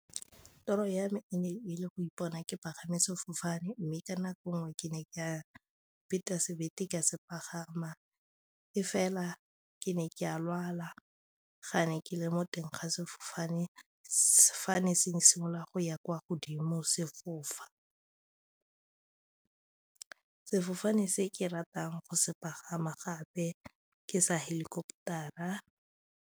Toro ya me e ne e le go ipona ke pagama sefofane mme ka nako ngwe ke ne ke a sebete ka se pagama e fela ke ne ke a lwala ga ne ke le mo teng ga sefofane, sefofane se simolola go ya kwa godimo sefofane se ke ratang go se pagama gape ke sa helicopter-ra.